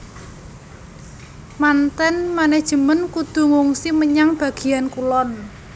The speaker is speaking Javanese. Manten manajemen kudu ngungsi menyang bagéan kulon